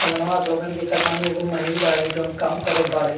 समनवा आप लोगन देखत बानी एगो मनई बाड़े जोन काम करत बाड़े।